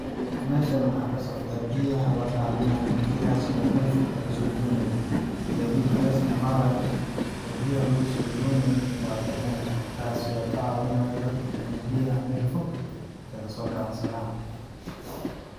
Meshani waxaa kasocdaa biyaha ladaminaayo biyahaas oo mel fog lagasoo doonayo gaadidka la isticmayo oo biyaha lagusoo donayo waa dameerka kaasi oo kacaawinayo dadka biyaha meel fog in aay kagasoo dansadaan.